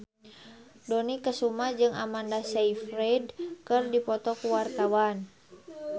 Dony Kesuma jeung Amanda Sayfried keur dipoto ku wartawan